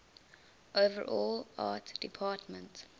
overall art department